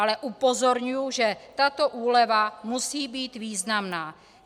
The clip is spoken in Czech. Ale upozorňuji, že tato úleva musí být významná.